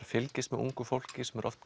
fylgist með ungu fólki sem er oft